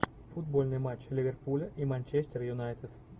футбольный матч ливерпуля и манчестер юнайтед